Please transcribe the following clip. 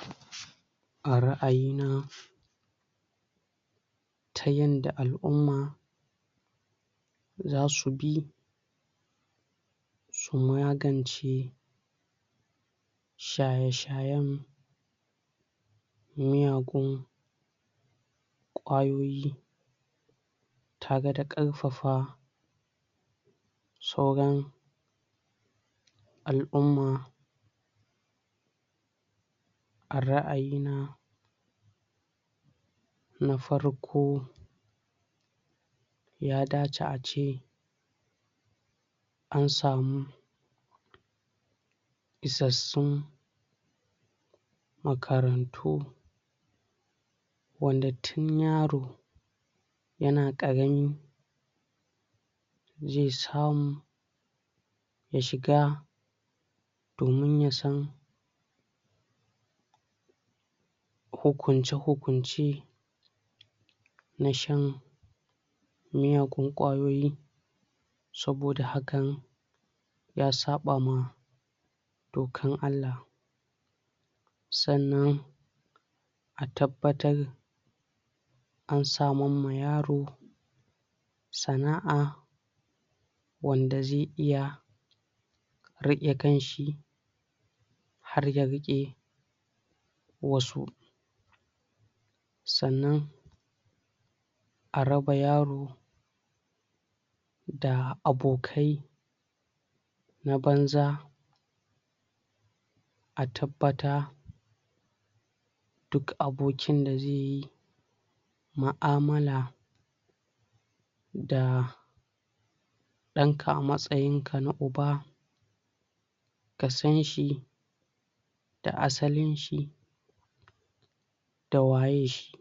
?????????????? a ra'ayina???????????????? ta yanda al'umma???????????? za su bi???????? su magance??????? shaye-shayen??????????? miyagun?????? kwayoyi????? tare da karfafa??????? sauran??????? al'umma??????????????????? a ra'ayina??????????? na farko??????? ya dace ace???????????? an samu??????? isassun??????????? makarantu????????? wanda tun yaro???? yana karami ??????/ zai samu???? ya shiga??? domin ya san???????????????? hukunce-hukunce?????? na shan????? miyagun kwayoyi??? saboda hakan???? ya saba ma???? dokan Allah?????? sannan?????? a tabbatar???? samun ma yaro???? sana'a???? wanda zai iya???? rike kanshi???? har ya rike???? wasu???? sannan???? a raba yaro????? da abokai???? na banza???? a tabbata????? duk abokin da zaiyi mu'amala??? da danka a matsayinka na uba????? ka sanshi??? da asalinshi?????? da waye shi?????